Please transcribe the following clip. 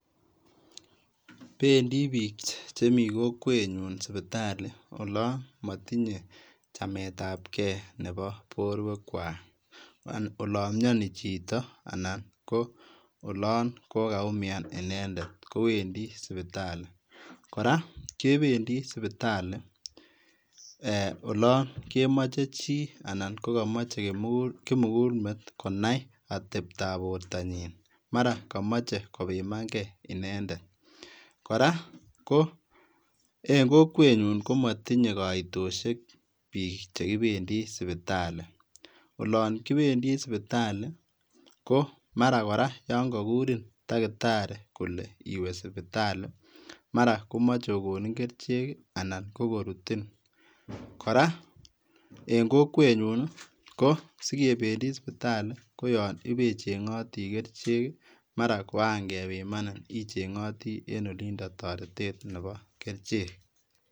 Bendii biik chemii kokwenyun sipitali olon motinye chametab kee nepoo borwekwak, olon mionii chito anan ko olon kokaumian inendet kowendi sipitali, kora kebendi sipitali eeh olon kemoche chii anan kokomoche kimukulmet konai atebtab bortanyin maran komoche kobimankee inendet, kora ko en kokwenyun komotinye koitoshek biik chekibendi sipitali, olon kibendi sipitali ko maran kora yoon kokurin takitari kolee iwee sipitali, maran komoche kokonin kerichek anan kokorutin, kora en kokwenyun i kosikebendi sipitali koyon ibechengoti kerchek i, maran koran kebimanin icheng'otii en olindo toretet neboo kerichek.